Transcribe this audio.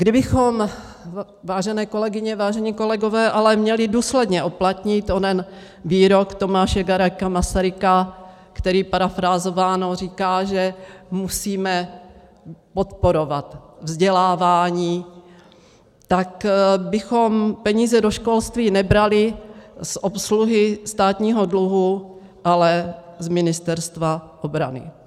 Kdybychom, vážené kolegyně, vážení kolegové, ale měli důsledně uplatnit onen výrok Tomáše Garrigua Masaryka, který parafrázováno říká, že musíme podporovat vzdělávání, tak bychom peníze do školství nebrali z obsluhy státního dluhu, ale z Ministerstva obrany.